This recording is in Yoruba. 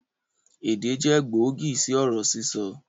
Èdè jẹ gbòógì sì ọ̀rọ̀ sísọ